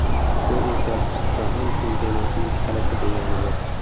Bu esa Jahon chempionatining kaliti deganidir.